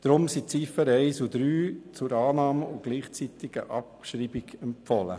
Deshalb wurden die Ziffern 1 und 3 zur Annahme und gleichzeitigen Abschreibung empfohlen.